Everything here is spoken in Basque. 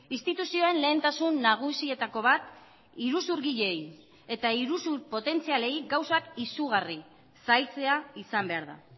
instituzioen lehentasun nagusietako bat iruzurgileei eta iruzur potentzialei gauzak izugarri zailtzea izan behar da